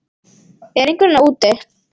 Er einhver þarna úti